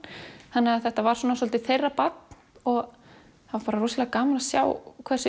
þannig að þetta var svolítið þeirra barn og það var bara rosalega gaman að sjá hversu